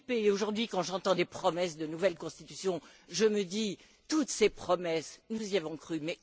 Aujourd'hui, quand j'entends des promesses de nouvelle constitution, je me dis toutes ces promesses, nous y avons cru.